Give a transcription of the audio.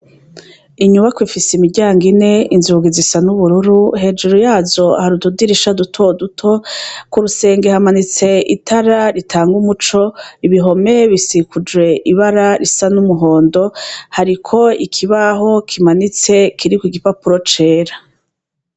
Inyubako ifise imiryango ine inzungi zisa n'ubururu hejuru yazo harududirisha duto duto, ku rusenge hamanitse itara ritanga umuco ibihome bisikuje ibara risa n'umuhondo, hariko ikibaho kimanitse kiri ku igipapuro cera.